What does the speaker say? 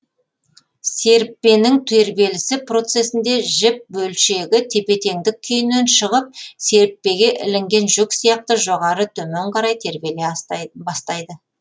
серіппенің тербелісі процесінде жіп бөлшегі тепе теңдік күйінен шығып серіппеге ілінген жүк сияқты жоғары төмен қарай тербеле бастайды